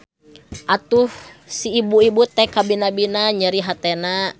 Atuh si ibu-ibu teh kabina-bina nyeri hatena.